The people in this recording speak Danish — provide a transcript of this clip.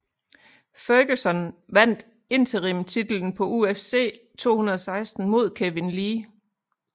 Ferguson vandt interim titlen på UFC 216 mod Kevin Lee